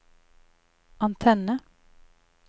antenne